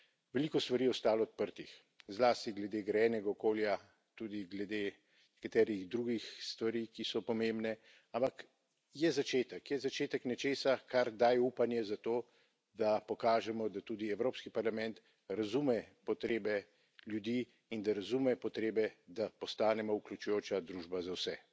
Veliko stvari je ostalo odprtih, zlasti glede grajenega okolja, tudi glede nekaterih drugih stvari, ki so pomembne. Ampak je začetek. Je začetek nečesa, kar daje upanje za to, da pokažemo, da tudi Evropski parlament razume potrebe ljudi in da razume potrebe, da postanemo vključujoča družba za vse.